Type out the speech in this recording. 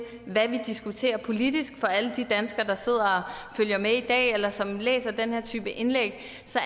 hvad vi diskuterer politisk altså for alle de danskere der sidder og følger med i dag eller som læser den her type indlæg så